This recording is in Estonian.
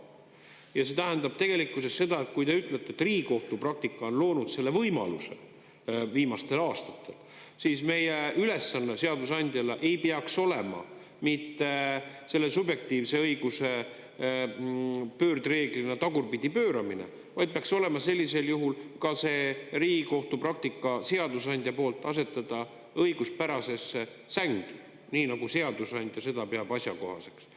Ja see tähendab tegelikkuses seda, et kui te ütlete, et Riigikohtu praktika on loonud selle võimaluse viimastel aastatel, siis meie ülesanne seadusandjana ei peaks olema mitte selle subjektiivse õiguse pöördreeglina tagurpidi pööramine, vaid peaks olema sellisel juhul ka see Riigikohtu praktika seadusandja poolt asetada õiguspärasesse sängi, nii nagu seadusandja seda peab asjakohaseks.